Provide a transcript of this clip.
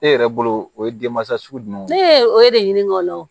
E yɛrɛ bolo o ye denmansa sugu jumɛn ye ne o ye de ɲini kɔnɔ